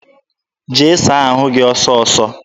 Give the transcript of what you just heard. Jee saa ahụ gị ọsọọsọ!